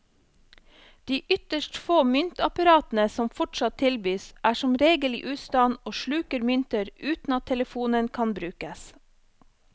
De ytterst få myntapparatene som fortsatt tilbys, er som regel i ustand og sluker mynter uten at telefonen kan brukes.